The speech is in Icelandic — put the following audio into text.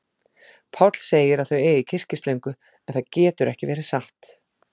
Páll segir að þau eigi kyrkislöngu, en það getur ekki verið satt.